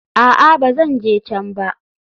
A'a, ba zan je can ba.